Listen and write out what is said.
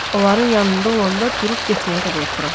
Onların yanında olanda durub getməyə də qorxuram.